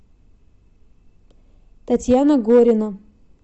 татьяна горина